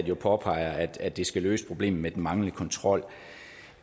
jo påpeger at det skal løse problemet med den manglende kontrol